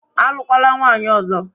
Alụkwala nwaanyị ọzọ